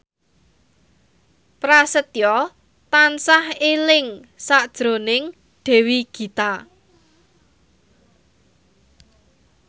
Prasetyo tansah eling sakjroning Dewi Gita